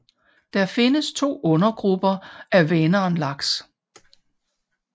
Der findes to undergrupper af vänernlaks